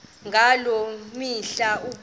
ngaloo mihla ukubonana